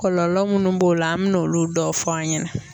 Kɔlɔlɔ munnu b'o la an mɛ n' olu dɔw fɔ an ɲɛnɛ.